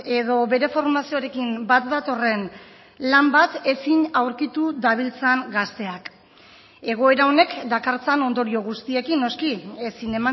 edo bere formazioarekin bat datorren lan bat ezin aurkitu dabiltzan gazteak egoera honek dakartzan ondorio guztiekin noski ezin